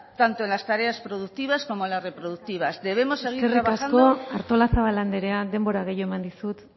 tanto en las tareas productivas como en la reproductivas debemos seguir eskerrik asko artozabal andrea denbora gehiago eman dizut